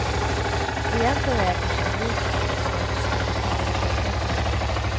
Egentligen är jag kanske en blyg person som har lite svårt att tala inför offentligheten.